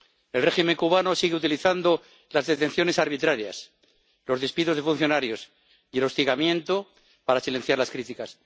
El régimen cubano sigue utilizando las detenciones arbitrarias, los despidos de funcionarios y el hostigamiento para silenciar las críticas.